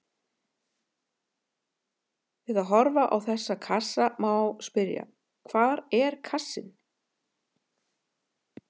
Við að horfa á þessa kassa má spyrja: hvar er kassinn?